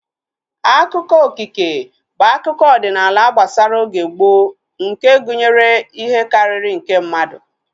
Akụkọ okike bụ akụkọ ọdịnala gbasara oge gboo nke gụnyere ihe karịrị nke mmadụ